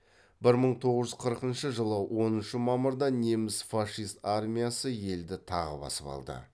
бір мың тоғыз жүз қырқыншы жылы оныншы мамырда неміс фашист армиясы елді тағы басып алды